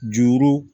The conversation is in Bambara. Juru